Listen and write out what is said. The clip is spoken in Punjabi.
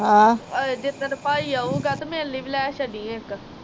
ਜਿਦਣ ਪਾਈ ਆਊਗਾ ਤੇ ਮੇਰੇ ਲਈ ਵੀ ਲੈ ਛੱਡੀ ਇੱਕ